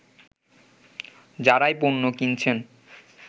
যারাই পণ্য কিনছেন